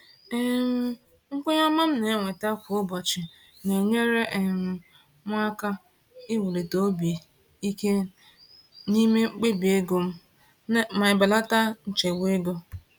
um Nkwenye ọma m na-enweta kwa ụbọchị na-enyere um m aka iwuli obi ike n’ime mkpebi ego m ma belata nchegbu ego.